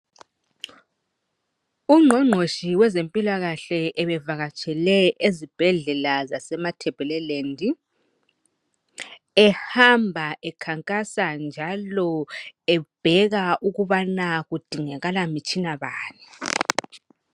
Ungqongqoshi wezempilakahle ubevakatshele ezibhedlela zaseMatabeleland. Ehamba ekhankasa, njalo ebheka ukuba kudingakala mitshina bani?